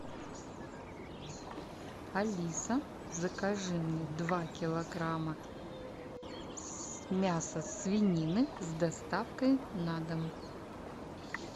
алиса закажи мне два килограмма мяса свинины с доставкой на дом